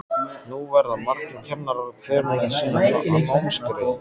Nú verða margir kennarar, hver með sína námsgrein.